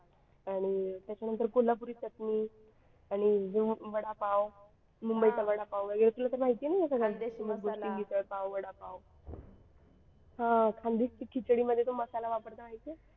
आणि त्याच्यानंतर कोल्हापुरी चटणी आणि वडापाव मुंबईचा वडापाव वगैरे तुला तर माहिती आहे ना मिसळपाव वडापाव हा खानदेशी खिचडी मध्ये तो मसाला वापरतात ते माहिती आहे.